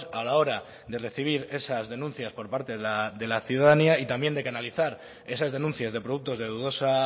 a la hora de recibir esas denuncias por parte de la ciudadanía y también de canalizar esas denuncias de productos de dudosa